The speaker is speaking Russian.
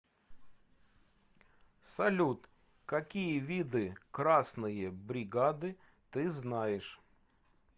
салют какие виды красные бригады ты знаешь